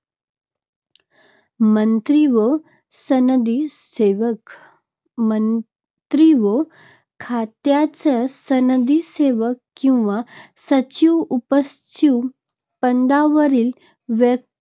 मंत्री व सनदी सेवक - मंत्री व खात्याचे सनदी सेवक किंवा सचिव उपसचिव पदावरील व्य